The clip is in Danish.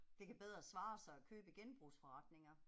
Det kan bedre svare sig at købe i genbrugsforretninger